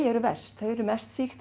eru verst þau eru mest sýkt